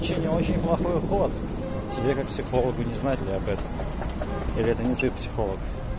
психолога не знает ли опять перитониты психолог